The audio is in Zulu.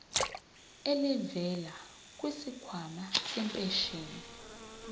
elivela kwisikhwama sempesheni